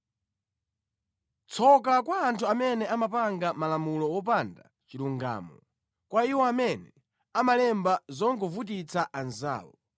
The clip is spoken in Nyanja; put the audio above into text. Tsoka kwa anthu amene amapanga malamulo opanda chilungamo, kwa iwo amene amalemba zongovutitsa anzawo,